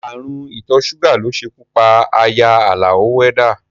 Ààrùn ìtọ́ ṣúgà ló ṣekú pa aya Àlàó wẹ́dá